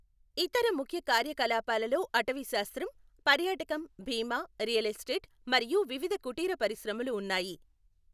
ఇతర ముఖ్య కార్యకలాపాలలో అటవీశాస్త్రం, పర్యాటకం, బీమా, రియల్ ఎస్టేట్, మరియు వివిధ కుటీర పరిశ్రమలు ఉన్నాయి.